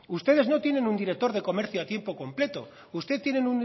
ustedes no tienen un director de comercio a tiempo completo ustedes